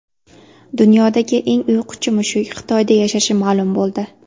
Dunyodagi eng uyquchi mushuk Xitoyda yashashi ma’lum bo‘ldi .